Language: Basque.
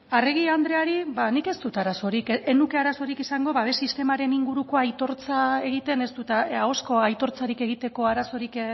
arregi andreari ba nik ez dut arazorik ez nuke arazorik izango babes sistemaren inguruko ahozko aitortzarik egiteko arazorik